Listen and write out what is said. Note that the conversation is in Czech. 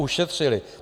Ušetřili.